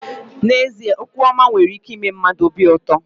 N'ezie okwu ọma nwere ike ime mmadụ obi ụtọ.